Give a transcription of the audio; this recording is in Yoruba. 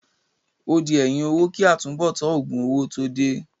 Ó di ẹ̀yìn owó kí àtúnbọ̀tán òògùn owó tó dé.